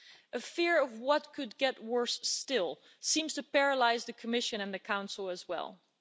A fear of what could get worse still seems to paralyse the Commission and the Council too.